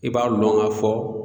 I b'a lɔn k'a fɔ